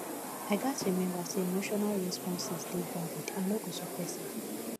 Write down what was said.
i gats remember say emotional responses dey valid i no go suppress am